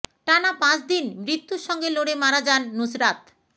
টানা পাঁচদিন মৃত্যুর সঙ্গে লড়ে মারা যান নুসরাত